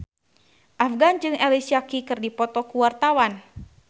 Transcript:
Afgan jeung Alicia Keys keur dipoto ku wartawan